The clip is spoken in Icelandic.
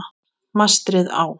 Mastrið á